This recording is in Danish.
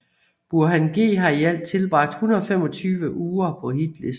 Burhan G har i alt tilbragt 125 uger på hitlisten